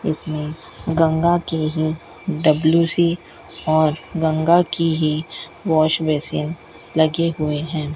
इसमें गंगा के ही डब्लू_सी और गंगा की ही वॉश बेसिन लगे हुए हैं।